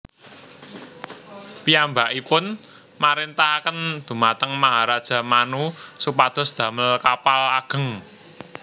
Piyambakipun marintahaken dhumateng Maharaja Manu supados damel kapal ageng